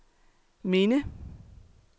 minde